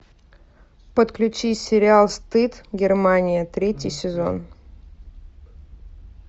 подключи сериал стыд германия третий сезон